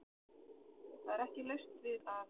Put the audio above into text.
Það er ekki laust við að